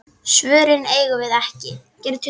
Svörin eigum við ekki.